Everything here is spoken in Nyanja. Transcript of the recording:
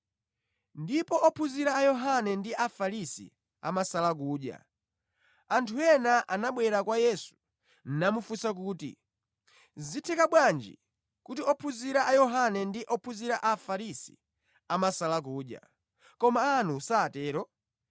Ndipo ophunzira a Yohane ndi a Afarisi amasala kudya. Anthu ena anabwera kwa Yesu namufunsa kuti, “Zitheka bwanji kuti ophunzira a Yohane ndi ophunzira a Afarisi amasala kudya, koma anu satero?”